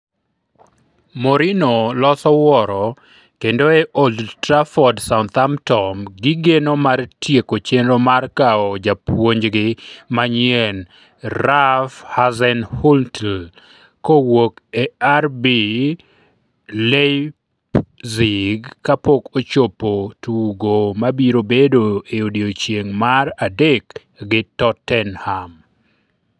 Mourinho loso wuoro kendo e Old Trafford Southampton gigeno mar tieko chenro mar kawo japuonjgi manyien Ralph Hasenhuttl kowuok e RB Leipzig kapok ochopo tugo mabiro bedo e odiechieng' mar adek gi Tottenham.